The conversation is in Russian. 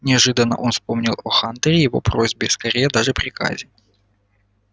неожиданно он вспомнил о хантере и о его просьбе скорее даже приказе